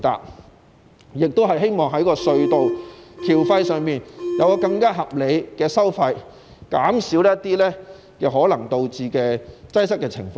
我亦希望在隧道收費方面更為合理，以減少可能導致的擠塞情況。